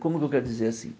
Como que eu quero dizer assim?